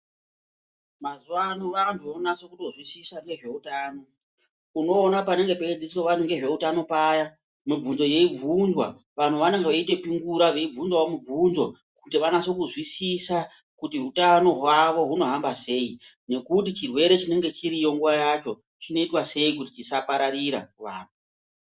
Mazuva ano vantu vonaso kutozwisisa ngezveutano. Unoona panange peidzidziswa vantu ngezveutano paya mibvunzo yeibvunzwa vantu vanenge veitopingura veibvunzavo mibvunzo kuti vanase kuzwisisa kuti hutano hwavo hunohamba sei. Nekuti chirwere chinenge chiriyo nguva yacho chinoitwa sei kuti chisapararira kuvantu.